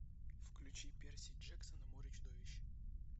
включи перси джексон и море чудовищ